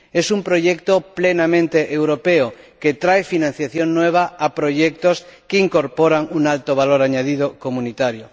Es un proyecto plenamente europeo que trae financiación nueva a proyectos que incorporan un alto valor añadido comunitario.